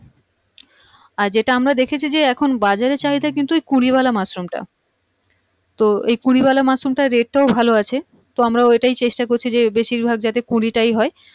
আর যেটা আমরা দেখেছি যে এখন বাজারে চাহিদা কিন্তু কুড়িওয়ালা মাশরুম টা তো এই কুড়িওয়ালা মাশরুম টার rate ও ভালো আছে তো আমরা ঐটাই চেষ্টা করছি যে বেশিরভাগ যাতে কুড়িটাই হয়